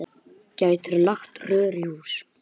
Gætirðu lagt rör í hús?